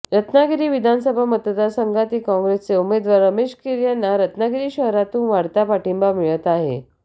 रत्नागिरी विधानसभा मतदारसंघातील काँग्रेसचे उमेदवार रमेश कीर यांना रत्नागिरी शहरातून वाढता पाठिंबा मिळत आहे